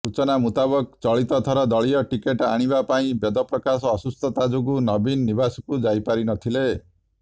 ସୂଚନା ମୁତାବକ ଚଳିତଥର ଦଳୀୟ ଟିକେଟ୍ ଆଣିବା ପାଇଁ ବେଦପ୍ରକାଶ ଅସୁସ୍ଥତା ଯୋଗୁ ନବୀନ ନିବାସକୁ ଯାଇପାରିନଥିଲେ